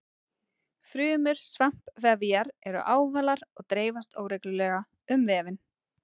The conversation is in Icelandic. Frumur svampvefjar eru ávalar og dreifast óreglulega um vefinn.